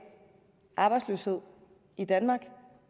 arbejdsløshed i danmark